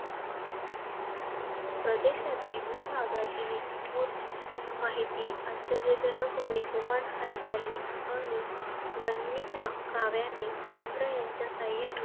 प्रदेशातील, भूभागातील इत्यंभूत माहिती आश्चर्यजनक वेगवान हालचाली आणि गनिमी काव्याने, तंत्र ह्यांच्या सहाय्याने.